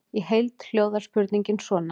Í heild hljóðar spurningin svona: